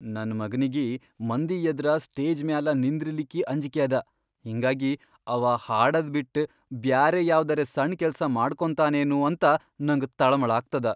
ನನ್ ಮಗನಿಗಿ ಮಂದಿಯದ್ರ ಸ್ಟೇಜ್ ಮ್ಯಾಲ ನಿಂದ್ರಲಿಕ್ಕಿ ಅಂಜ್ಕ್ಯದ ಹಿಂಗಾಗಿ ಅವಾ ಹಾಡದ್ ಬಿಟ್ ಬ್ಯಾರೆ ಯಾವ್ದರೆ ಸಣ್ ಕೆಲ್ಸ ಮಾಡ್ಕೊಂತಾನೇನೂ ಅಂತ ನಂಗ ತಳಮಳಾಗ್ತದ.